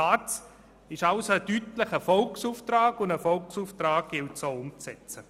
Die SARZ ist also ein deutlicher Volksauftrag, und einen solchen gilt es auch umzusetzen.